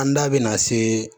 An da bɛna se